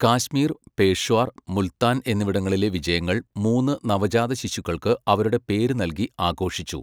കാശ്മീർ, പേഷ്വാർ, മുൽത്താൻ എന്നിവിടങ്ങളിലെ വിജയങ്ങൾ മൂന്ന് നവജാതശിശുക്കൾക്ക് അവരുടെ പേര് നൽകി ആഘോഷിച്ചു.